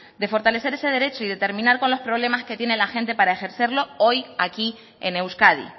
de fortalecer ese derecho y de terminar con los problemas que tiene la gente para ejercerlo hoy aquí en euskadi